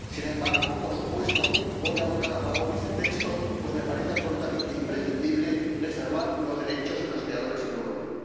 Sin embargo, por supuesto, voy a votar a favor de este texto, pues me parece absolutamente imprescindible preservar los derechos de los creadores en Europa.